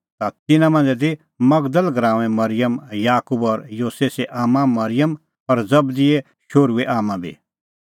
ता तिन्नां मांझ़ै ती मगदल़ गराऊंए मरिअम याकूब और योसेसे आम्मां मरिअम और जबदीए शोहरूए आम्मां बी